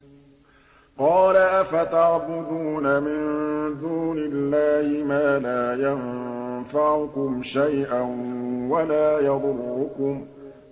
قَالَ أَفَتَعْبُدُونَ مِن دُونِ اللَّهِ مَا لَا يَنفَعُكُمْ شَيْئًا وَلَا يَضُرُّكُمْ